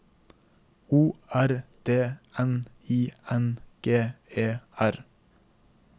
O R D N I N G E R